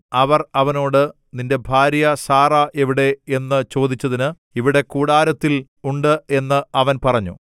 അവർ അവനോട് നിന്റെ ഭാര്യ സാറാ എവിടെ എന്നു ചോദിച്ചതിന് ഇവിടെ കൂടാരത്തിൽ ഉണ്ട് എന്നു അവൻ പറഞ്ഞു